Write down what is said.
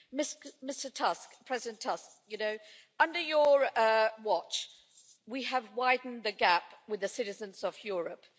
Mr Tusk, President Tusk, you know, under your watch we have widened the gap with the citizens of Europe.